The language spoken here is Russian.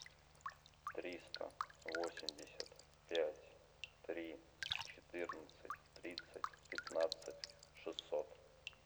триста восемьдесят пять три четырнадцать тридцать пятнадцать шестьсот